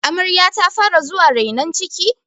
amaryar ta fara zuwa renon ciki?